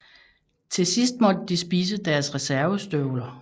Til sidst måtte de spise deres reservestøvler